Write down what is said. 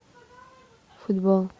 футбол